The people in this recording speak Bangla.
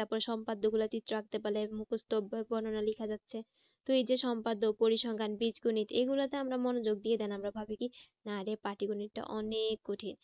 তারপরে সম্পাদ্য গুলা চিত্র আঁকতে পারলে মুকস্ত বর্ণনা লেখা যাচ্ছে। তো এই যে সম্পাদ্য পরিসংখ্যান বীজগণিত এই গুলোতে আমরা মনোযোগ দিয়ে আমরা ভাবি কি না রে পাটিগণিতটা অনেক কঠিন।